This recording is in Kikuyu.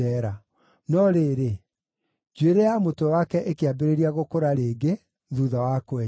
No rĩrĩ, njuĩrĩ ya mũtwe wake ĩkĩambĩrĩria gũkũra rĩngĩ, thuutha wa kwenjwo.